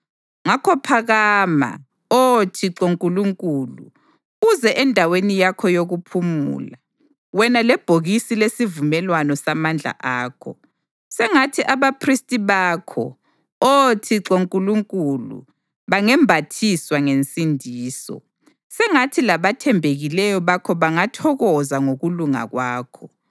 Ngakho phakama, Oh Thixo Nkulunkulu, uze endaweni yakho yokuphumula, wena lebhokisi lesivumelwano samandla akho. Sengathi abaphristi bakho, Oh Thixo Nkulunkulu, bangembathiswa ngensindiso, sengathi labathembekileyo bakho bangathokoza ngokulunga kwakho.